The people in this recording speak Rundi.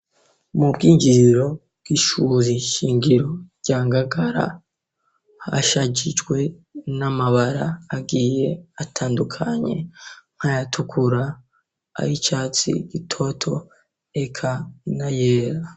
Mu bwinjiriro bw'ishuzi shingiro rya ngagara hashajijwe n'amabara agiye atandukanye nkayatukura ari icatsi gitoto eka ina yera.